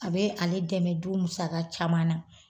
A bɛ ale dɛmɛ du musaka caman na.